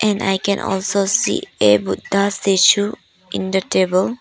And I can also see a buddha statue in the table.